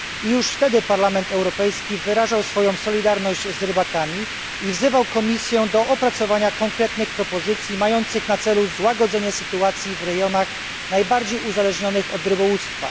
Już wtedy Parlament Europejski wyrażał swoją solidarność z rybakami i wzywał Komisję do opracowania konkretnych propozycji mających na celu złagodzenie sytuacji w rejonach najbardziej uzależnionych od rybołówstwa.